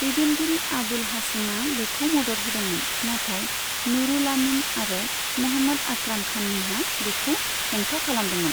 दैदेनगिरि आबुल हाशिमा बेखौ मदद होदोंमोन, नाथाय नूरुल आमीन आरो महम्मद आक्राम खानमोनहा बेखौ हेंथा खालामदोंमोन।